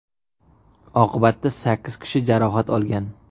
Oqibatda sakkiz kishi jarohat olgan.